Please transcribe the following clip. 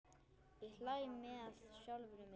Ég hlæ með sjálfri mér.